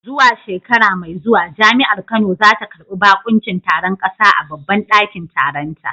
Zuwa shekara mai zuwa Jami’ar Kano za ta karbi bakuncin taron kasa a babban dakin taronta.